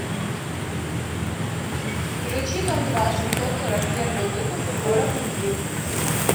включи дом два семьсот сорок первый выпуск город любви